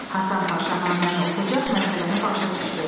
Həsən Paşa naməni oxucaq məsələni başa düşdü.